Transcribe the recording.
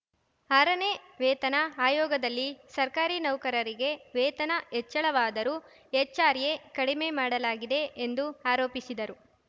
ಆರನೇ ವೇತನ ಆಯೋಗದಲ್ಲಿ ಸರ್ಕಾರಿ ನೌಕರರಿಗೆ ವೇತನ ಹೆಚ್ಚಳವಾದರೂ ಎಚ್‌ಆರ್‌ಎ ಕಡಿಮೆ ಮಾಡಲಾಗಿದೆ ಎಂದು ಆರೋಪಿಸಿದರು